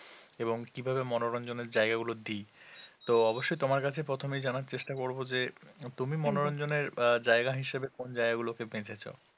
এবং কী ভাবে মনোরঞ্জনের জায়গা গুলো দিই তো অবশ্যই তোমার কাছে প্রথমেই জানার চেষ্টা করব যে তুমি মনোরঞ্জনের জায়গা হিসাবে কোন জায়গাগুলোকে বেছেছো